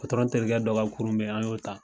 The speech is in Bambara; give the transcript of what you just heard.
terikɛ dɔ ka kurun be yen , an y'o ta